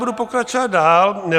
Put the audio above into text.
Budu pokračovat dál.